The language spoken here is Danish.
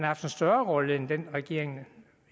haft en større rolle end den regeringen